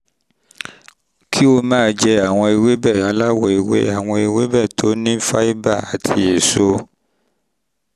kí o máa jẹ àwọn ewébẹ̀ aláwọ̀ ewé àwọn ewébẹ̀ tó ní fáíbà àti èso